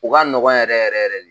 O ka nɔgɔ yɛrɛ yɛrɛ yɛrɛ de.